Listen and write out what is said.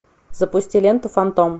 запусти ленту фантом